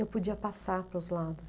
Eu podia passar para os lados.